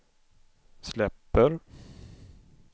släpper